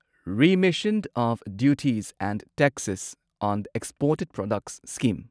remission of duties and taxes on exported products scheme